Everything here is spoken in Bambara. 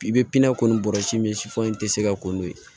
I bɛ pini kɔni bɔrɔsi min si fɔ i tɛ se ka ko n'o ye